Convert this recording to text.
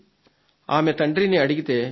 ఆమె తండ్రిని అడిగితే చెప్పాడు